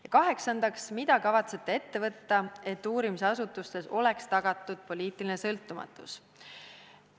Ja kaheksandaks: mida kavatsete ette võtta, et uurimisasutustes oleks tagatud poliitiline sõltumatus?